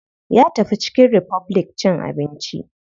Ya tafi chicken republic cin abinci.